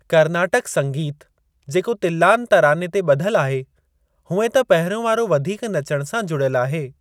कर्नाटक संगीत जो तिल्‍लान तराने ते ॿधल आहे, हुएं त पहिरियों वारो वधीक नचण सां जुड़ियल आहे।